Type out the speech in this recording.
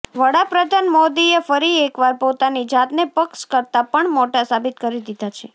વડાપ્રધાન મોદીએ ફરી એકવાર પોતાની જાતને પક્ષ કરતાં પણ મોટા સાબિત કરી દીધા છે